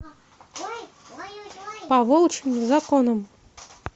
по волчьим законам